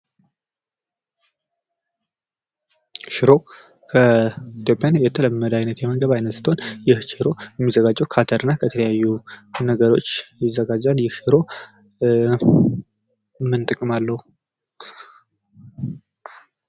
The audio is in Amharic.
ሽሮ ከኢትዮጵያ የተለመደ አይነት የምግብ ዓይነት ስትሆን ይህ ሽሮ የሚዘጋጀው ከአተር እና ከተለያዩ ነገሮች ይዘጋጃል ። ይህ ሽሮ ምን ጥቅም አለው ?